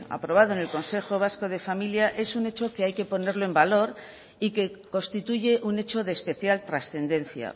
aprobado en el consejo vasco de familia es un hecho que hay que ponerlo en valor y que constituye un hecho de especial trascendencia